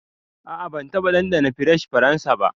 A'a ban taba dandana fries faransa ba.